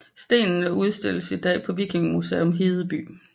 Stenene udstilles i dag på Vikingemuseum Hedeby